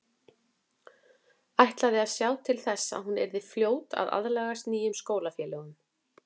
Ætlaði að sjá til þess að hún yrði fljót að aðlagast nýjum skólafélögum.